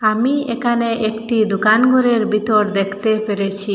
আমি একানে একটি দোকান গরের বিতর দেখতে পেরেছি।